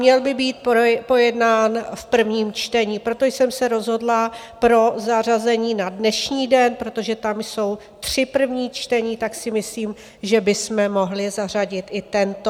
Měl by být pojednán v prvním čtení, proto jsem se rozhodla pro zařazení na dnešní den, protože tam jsou tři první čtení, tak si myslím, že bychom mohli zařadit i tento.